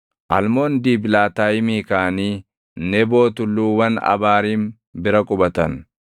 Almoon Diiblaatayimii kaʼanii Neboo tulluuwwan Abaariim bira qubatan.